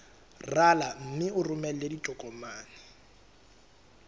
rala mme o romele ditokomene